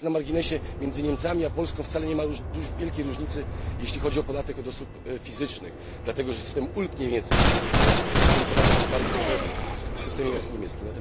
Tak na marginesie między Niemcami a Polską wcale nie ma wielkiej różnicy, jeśli chodzi o podatek od osób fizycznych, dlatego, że system ulg niemieckich powoduje, że ten podatek jest bardzo podobny w systemie niemieckim.